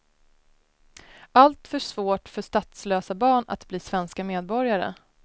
Alltför svårt för statslösa barn att bli svenska medborgare.